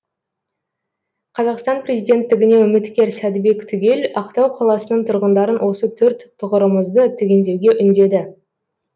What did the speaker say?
қазақстан президенттігіне үміткер сәдібек түгел ақтау қаласының тұрғындарын осы төрт тұғырымызды түгендеуге үндеді